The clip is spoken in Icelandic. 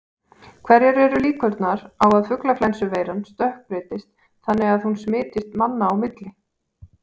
Hverjar eru líkurnar á að fuglaflensuveiran stökkbreytist þannig að hún smitist manna á milli?